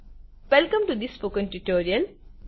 welcome to the spoken tutorial